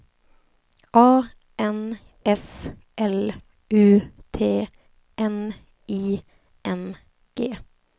A N S L U T N I N G